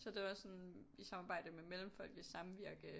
Så det var sådan i samarbejde med Mellemfolkeligt Samvirke